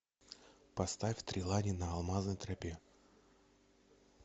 поставь три лани на алмазной тропе